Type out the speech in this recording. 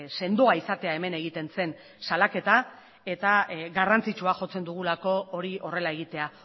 sendoa izatea hemen egiten zen salaketa eta garrantzitsua jotzen dugulako hori horrela egitea